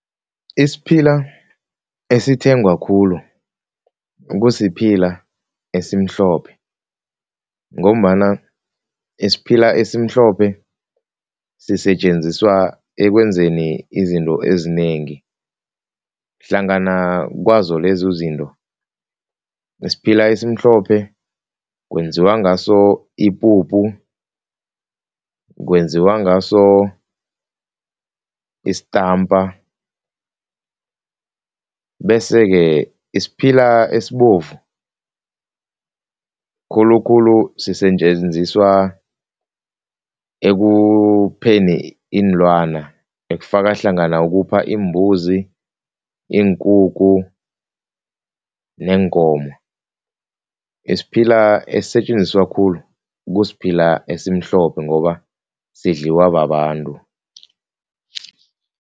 Isiphila esithengwako khulu kusiphila esimhlophe ngombana isiphila esimhlophe sisetjenziswa ekwenzeni izinto ezinengi hlangana kwazo lezo izinto, isiphila esimhlophe kwenziwa ngaso ipuphu kwenziwa ngaso istampa bese-ke, isiphila esibovu khulukhulu sisetjenziswa ekupheni iinlwana ekufaka hlangana ukupha iimbuzi, iinkukhu neenkomo. Isiphila esisetjenziswa khulu kusiphila esimhlophe ngoba sidliwa babantu.